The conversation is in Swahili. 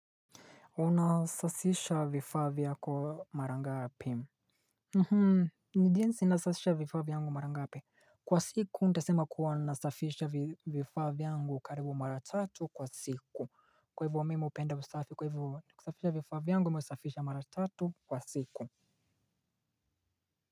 Unasafisha vifaa vyako marangapi ni jinsi nasafisha vifaa vyangu marangapi. Kwa siku nitasema kuwa nasafisha vifaa vyangu karibu mara tatu kwa siku. Kwa hivyo mimi hupenda usafi kwa hivyo kusafisha vifaa vyangu mimi husafisha mara tatu kwa siku.